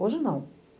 Hoje, não.